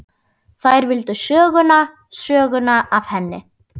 Þær vildu söguna, söguna af henni.